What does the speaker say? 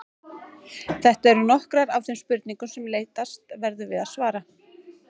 Þetta eru nokkrar af þeim spurningum sem leitast verður við að svara.